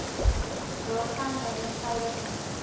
daarvan n eenvoudige